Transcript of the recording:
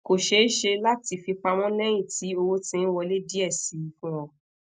ko ṣee ṣe lati fipamọ lẹhin ti owo ti n wole diẹ sii fun o